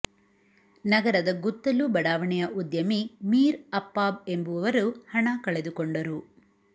ನಗರದ ಗುತ್ತಲು ಬಡಾವಣೆಯ ಉದ್ಯಮಿ ಮೀರ್ ಅಪ್ಪಾಬ್ ಎಂಬುವರು ಹಣ ಕಳೆದುಕೊಂಡರು